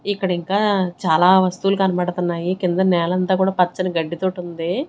ఇక్కడ ఇంకా చాలా వస్తువులు కనబడుతున్నాయి కింద నేలంతా కూడా పచ్చని గడ్డితోటి ఉంది.